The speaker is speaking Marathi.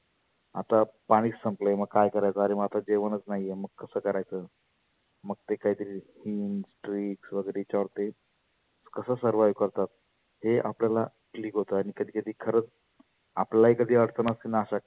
आता पाणि संपलय मग काय करायचं आरे मग, जेवणच नाहीए मग कसं करायचं? मग ते काही तरी वगैरे याच्यावर ते कसं servive करतात. हे आपल्याला click होतं आणि खरच आपल्यालाही कही अडच असेल ना अशा